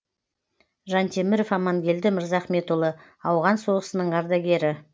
жантеміров амангелді мырзахметұлы ауған соғысының ардагері